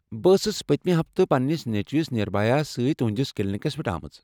بہٕ ٲسٕس پتِمہِ ہفتہٕ پنٛنس نیٚچوس نِربھیہ یس سۭتۍ تُہنٛدِس کلینِکس پٮ۪ٹھ آمٕژ۔